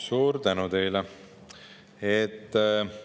Suur tänu teile!